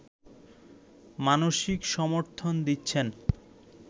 মানসিক সমর্থন দিচ্ছেন